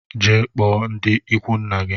Jee kpụọ ndi ikwu nna gi!